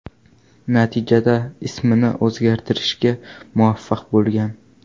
Natijada ismini o‘zgartirishga muvaffaq bo‘lgan.